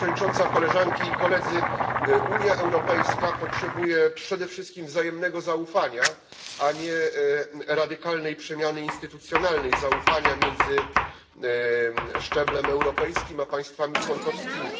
Pani Przewodnicząca! Koleżanki i Koledzy! Unia Europejska potrzebuje przede wszystkim wzajemnego zaufania, a nie radykalnej przemiany instytucjonalnej, zaufania między szczeblem europejskim a państwami członkowskimi.